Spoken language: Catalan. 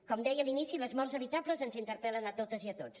com deia a l’inici les morts evitables ens interpel·len a totes i a tots